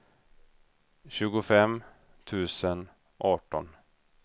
tjugofem tusen arton